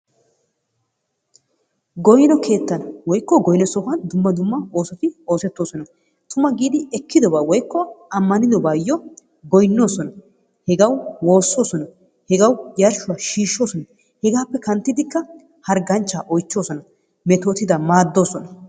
Goynno keettan woykko goynno sohuwan dumma dumma oosoti oosetoosona. Tumma giidi ekkidoba woykko ammanidobayo goynoosona. Hegawu woososona, hegawu yarshuwa shiishoosona. Hegaappe kanttidikka harganchcha oychoosona, metootidaa maadoosona.